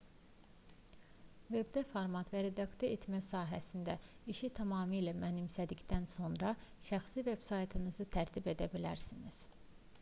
vebdə format və redaktə etmə sahəsində işi tamamilə mənimsədikdən sonra şəxsi veb-saytınızı tərtib edə bilərsiniz